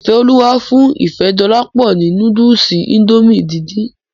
Ifeoluwa fún Ifedolapo ni núdùùsì Índòmí díndín.